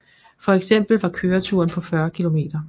For eksempel var køreturen på 40 km